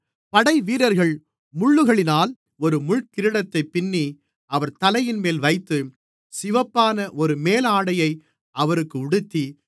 படைவீரர்கள் முள்ளுகளினால் ஒரு முள்கிரீடத்தைப் பின்னி அவர் தலையின்மேல் வைத்து சிவப்பான ஒரு மேலாடையை அவருக்கு உடுத்தி